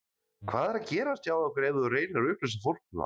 Hvað er að gerast hjá ykkur ef þú reynir að upplýsa fólk um það?